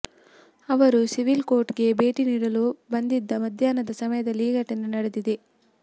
ಅವರು civil court ಗೆ ಭೇಟಿ ನೀಡಲು ಬಂದಿದ್ದ ಮಧ್ಯಾಹ್ನದ ಸಮಯದಲ್ಲಿ ಈ ಘಟನೆ ನಡೆದಿದೆ